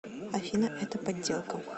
афина это подделка